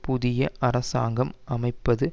புதிய அரசாங்கம் அமைப்பது